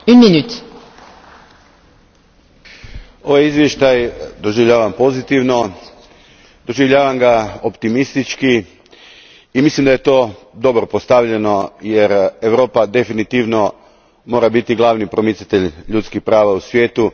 Gospođo predsjedavajuća, ovaj izvještaj doživljavam pozitivno, doživljavam ga optimistički i mislim da je to dobro postavljeno, jer Europa definitivno mora biti glavni promicatelj ljudskih prava u svijetu.